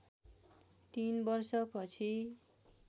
तीन वर्ष पछि